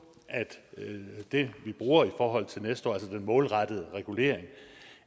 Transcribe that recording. at det vi bruger i forhold til næste år altså den målrettede regulering